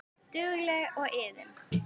Dugleg og iðin.